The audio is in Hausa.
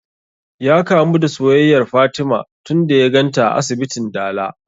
Ya kamu da soyayyar fatima tun da ya ganta a asibitin dala